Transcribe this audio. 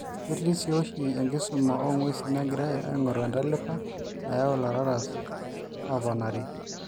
ketii si oshi enkisuma oonguesinegirai aingoru entalipa nayau lararas ooponari